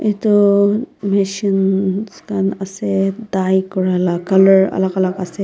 edu machines khan ase dye kurala colour alak alak ase.